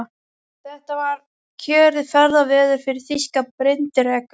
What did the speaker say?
Þetta var kjörið ferðaveður fyrir þýska bryndreka.